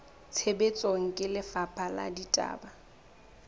tshebetsong ke lefapha la ditaba